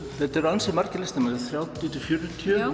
þetta eru ansi margir listamenn þrjátíu til fjörutíu